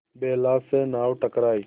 बेला से नाव टकराई